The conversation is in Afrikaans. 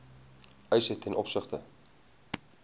eise ten opsigte